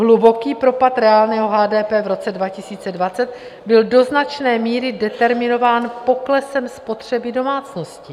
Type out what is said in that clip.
Hluboký propad reálného HDP v roce 2020 byl do značné míry determinován poklesem spotřeby domácností.